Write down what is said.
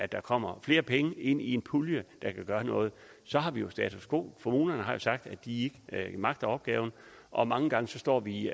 der kommer flere penge ind i en pulje der kan gøre noget så har vi jo status quo kommunerne har sagt at de ikke magter opgaven og mange gange står vi